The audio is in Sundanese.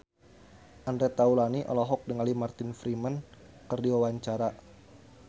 Andre Taulany olohok ningali Martin Freeman keur diwawancara